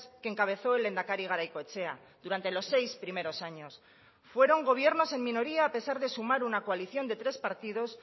que encabezó el lehendakari garaikoetxea durante los seis primeros años fueron gobiernos en minoría a pesar de sumar una coalición de tres partidos